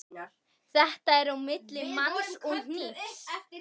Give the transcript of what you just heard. Þetta er á milli manns og hnífs.